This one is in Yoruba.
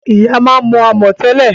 Ìyá máa ń mo amò tẹ́lẹ̀